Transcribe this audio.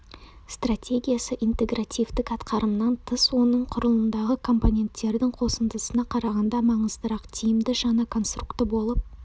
стратегиясы интегративтік атқарымынан тыс оның құрылымындағы компоненттердің қосындысына қарағанда маңыздырақ тиімді жаңа конструкты болып